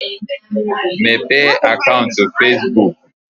Mepee akaụnt Fesbuk!